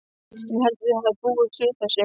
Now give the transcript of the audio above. Ég held að þau hafi búist við þessu.